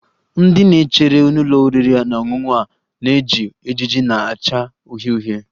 Ndị na-echere n'ụlọ oriri na ọṅụṅụ a na-eji ejiji na-acha uhie uhie